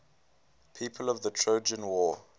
people of the trojan war